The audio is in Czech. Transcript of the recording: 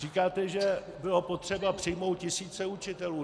Říkáte, že bylo potřeba přijmout tisíce učitelů.